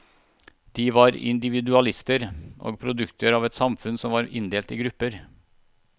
De var individualister, og produkter av et samfunn som var inndelt i grupper.